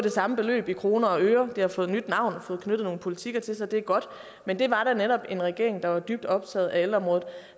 det samme beløb i kroner og øre det har fået nyt navn og fået knyttet nogle politikker til sig det er godt men det var da netop en regering der var dybt optaget af ældreområdet